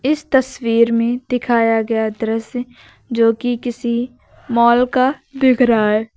इस तस्वीर में दिखाया गया दृश्य जो की किसी मॉल का दिख रहा है।